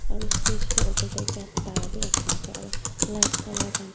aru stage tae opor tae ekta start bu rakhina ase aro light colour khan.